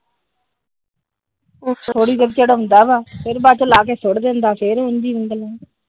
ਥੋੜੀ ਦੇਰ ਚੜ੍ਹਉਂਦਾ ਆ ਫਿਰ ਬਾਅਦ ਚੋ ਲਾਹ ਕੇ ਸੁੱਟ ਦਿੰਦਾ ਆ .